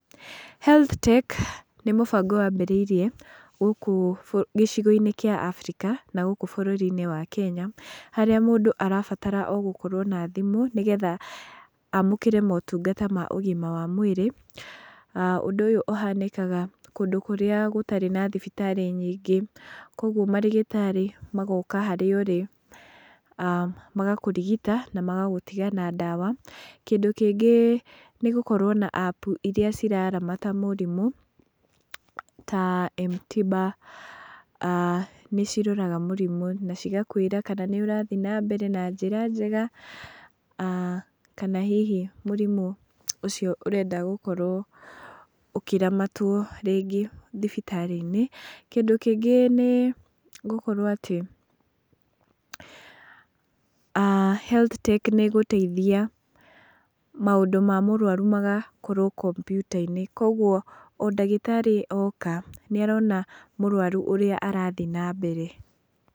Health tech nĩ mũbango wambĩrĩrie gũkũ gĩcigo-inĩ kĩa Abirika, na gũkũ bũrũri-inĩ wa Kenya, harĩa mũndũ arabatara o gũkorwo na thimũ, nĩgetha amũkĩre motungata ma ũgima wa mwĩrĩ, aah ũndũ ũyũ ũhanĩkaga kũndũ kũrĩa gũtarĩ na thibitarĩ nyingĩ, koguo marĩgĩtarĩ magoka harĩa ũrĩ, aah magakũrigita na magagũtiga na ndawa, kĩndũ kĩngĩ nĩ gũkorwo na apu iria ciraramata mũrimũ, ta M-tiba aah nĩ ciroraga mũrimũ na cigakwĩra kana nĩ ũrathiĩ na mbere na njĩra njega, aah kana hihi mũrimũ ũcio ũrenda gũkorwo ũkĩramatwo rĩngĩ thibitarĩ-inĩ, kĩndũ kĩngĩ nĩ gũkorwo atĩ aah Health tech nĩ ĩgũteithia maũndũ ma mũrwaru magakorwo kompiuta-inĩ, koguo o ndagĩtarĩ oka, nĩ arona mũrwaru ũrĩa arathiĩ na mbere.